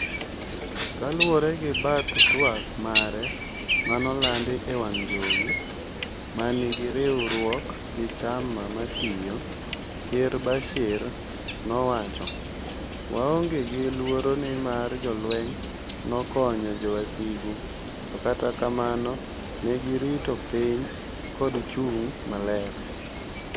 Kaluwore gi bath twak mare manolandi ewang' jowi manigi riwruok gi chama matiyo, Ker Bashir nowacho," waonge gi luoro nimar jolweny nokokonyo jowasigu to kata kamano negirito piny kod chung' mare.